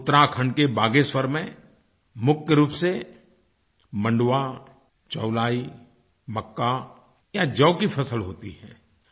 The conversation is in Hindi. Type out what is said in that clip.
उत्तराखंड के बागेश्वर में मुख्य रूप से मंडवा चौलाई मक्का या जौ की फसल होती है